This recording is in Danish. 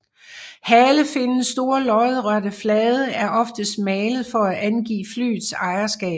Halefinnens store lodrette flade er oftest malet for at angive flyets ejerskab